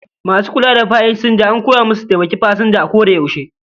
Masu kula da pasanja an koya musu su taimaki pasanja a koda yaushe